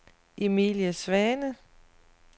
Emilie Svane